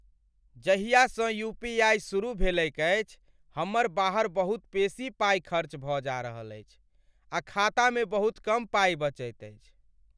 जाहियासँ UPI सुरुह भेलैक अछि, हमर बाहर बहुत बेसी पाई खर्च भऽ जा रहल छी आ खातामे बहुत कम पाइ बचैत अछि।